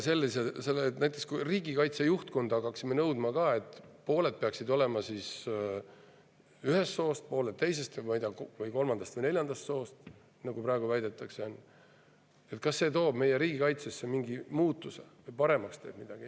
Kui me näiteks riigikaitse juhtkonna puhul hakkaksime samamoodi nõudma, et pooled peaksid olema ühest soost, pooled teisest, kolmandast või neljandast soost, nagu praegu väidetakse, siis kas see tooks meie riigikaitsesse mingi muutuse või teeks midagi paremaks?